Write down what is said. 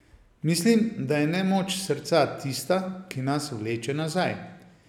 Mislim, da je nemoč srca tista, ki nas vleče nazaj.